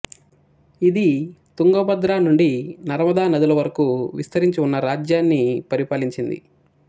ఇది తుంగభద్ర నుండి నర్మదా నదుల వరకు విస్తరించి ఉన్న రాజ్యాన్ని పరిపాలించింది